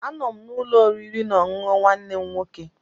Anọ m n'ụlọ oriri na ọṅụṅụ nwanne m nwoke.